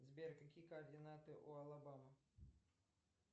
сбер какие координаты у алабамы